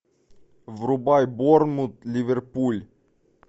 врубай борнмут ливерпуль